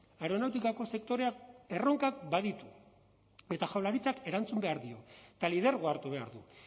aeronautikako sektoreak erronkak baditu eta jaurlaritzak erantzun behar dio eta lidergoa hartu behar du